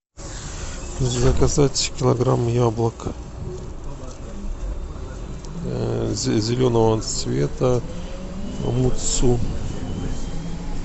заказать килограмм яблок зеленого цвета мутсу